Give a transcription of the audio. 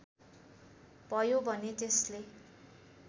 भयो भने त्यसले